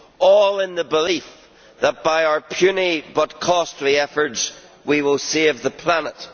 all in the belief that by our puny but costly efforts, we will save the planet.